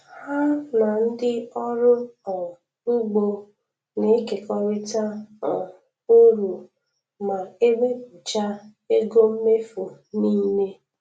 Ha na ndị ọrụ um ugbo na-ekekọrịta um uru ma ewepụcha ego mmefu niile